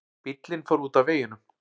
Bíllinn fór út af veginum